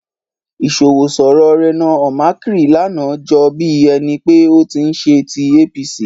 Ìṣọwọ́sọ̀rọ̀ Reno Omokri lánàá jọ bí ẹni pé ó ti ń ṣe tí APC.